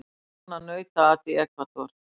Vill banna nautaat í Ekvador